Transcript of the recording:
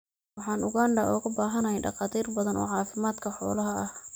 Waxaan Uganda uga baahanahay dhakhaatiir badan oo caafimaadka xoolaha ah.